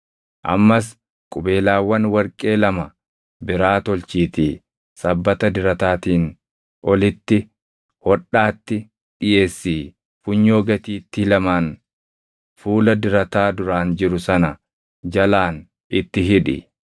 Ammas qubeelaawwan warqee lama biraa tolchiitii sabbata dirataatiin olitti hodhaatti dhiʼeessii funyoo gatiittii lamaan fuula dirataa duraan jiru sana jalaan itti hidhi.